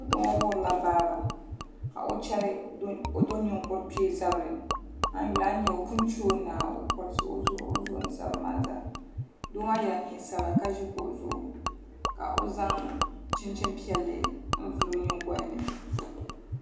Foto ŋo wuhurila baaba ka o chɛri do ninkuri kpee zabiri a yi yuli a ni nyɛ o pun chɛo naai o korisi o zuɣu ni zabiri maa zaa doo maa yɛla neen sabila ka ʒi kuɣu zuɣu ka o zaŋ chinchini piɛlli n vuli o nyingoli ni